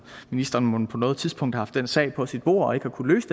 ministeren mon på noget tidspunkt har haft den sag på sit bord og ikke har kunnet løse